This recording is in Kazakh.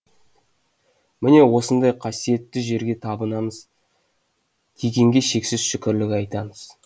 міне осындай қасиетті жерге табанымыз тигенге шексіз шүкірлік айтамыз